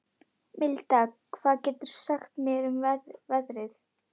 Milda, hvað geturðu sagt mér um veðrið?